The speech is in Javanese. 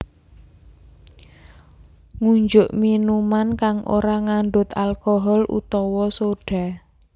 Ngunjuk minuman kang ora ngandhut alcohol utawa soda